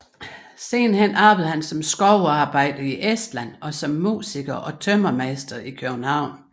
Siden arbejdede han som skovarbejder i Estland og som musiker og tømrermester i København